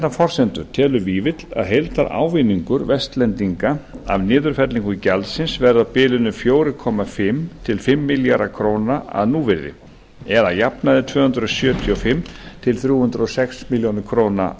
forsendur telur vífill að heildarávinningur vestlendinga af niðurfellingu gjaldsins verða á bilinu fjögur og hálft til fimm komma núll milljarðar króna að núvirði eða að jafnaði tvö hundruð sjötíu og fimm til þrjú hundruð og sex milljónir króna